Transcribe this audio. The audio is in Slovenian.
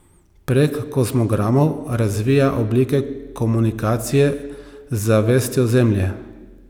Prek kozmogramov razvija oblike komunikacije z zavestjo Zemlje.